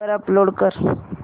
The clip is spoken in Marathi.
वर अपलोड कर